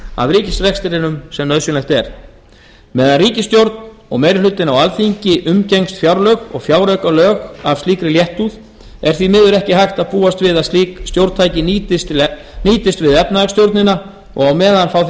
af ríkisrekstrinum sem nauðsynlegt er meðan ríkisstjórn og meiri hlutinn á alþingi umgengst fjárlög og fjáraukalög af slíkri léttúð er því miður ekki hægt að búast við að slík stjórntæki nýtist við efnahagsstjórnina og meðan fá